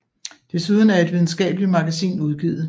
Desuden er et videnskabeligt magasin udgivet